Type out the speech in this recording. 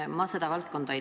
Ma ei tunne seda valdkonda.